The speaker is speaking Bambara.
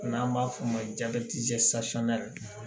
N'an b'a f'o ma